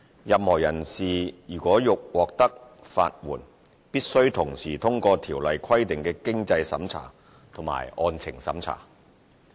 任何人士如欲獲得法援，必須同時通過《條例》規定的經濟審查及案情審查。